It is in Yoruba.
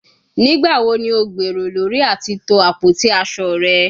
Nigbawo ni o gbero lori ati to apoti aso rẹ?